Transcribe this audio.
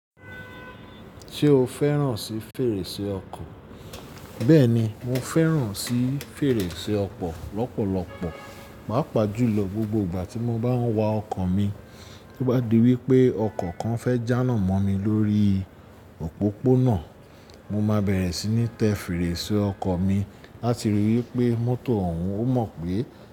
Ṣé o fẹ́ràn sí fèrèsé ọkọ̀? Bẹ́ẹ̀ni, mo fẹ́ràn sì fèrèsé ọkọ̀ lọ́pọ̀lọpọ̀. Pàá pàjùlọ gbogbo ìgbà tí mo bá ń wa ọkọ̀ mi. Tí ó bá di wípé ọkọ̀ kan fẹ́ jà nà mọ́ mi lórí òpópónà, mo máa bẹ̀rẹ̀ sí ní tẹ fèrèsé ọkọ̀ mi láti rí i wípé mọ́tò ọ̀ún ó mọ̀ pé.